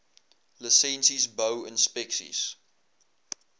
lisensies bou inspeksies